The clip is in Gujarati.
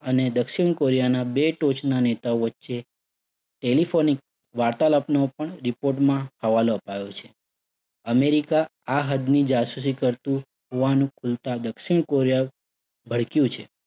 અને દક્ષિણ કોરિયાના બે ટોચના નેતાઓ વચ્ચે telephonic વાર્તાલાપનો પણ report માં હવાલો અપાયો છે. અમેરિકા આ હદ્દની જાસૂસી કરતુ હોવાનું ખુલતા દક્ષિણ કોરિયા ભડક્યું છે.